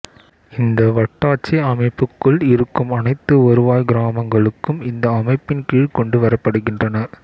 இந்த வட்டாட்சி அமைப்புக்குள் இருக்கும் அனைத்து வருவாய்க் கிராமங்களும் இந்த அமைப்பின் கீழ் கொண்டு வரப்படுகின்றன